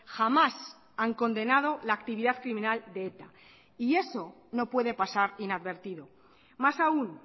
jamás han condenado la actividad criminal de eta y eso no puede pasar inadvertido más aún